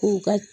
K'u ka